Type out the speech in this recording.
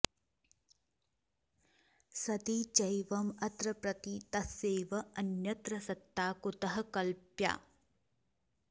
सति चैवं अत्र प्रतीतस्यैव अन्यत्र सत्ता कुतः कल्प्या